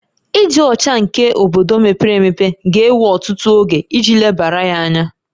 Ịdị ọcha nke obodo mepere emepe ga-ewe ọtụtụ oge iji lebara ya anya